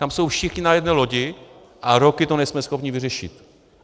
Tam jsou všichni na jedné lodi, a roky to nejsme schopni vyřešit.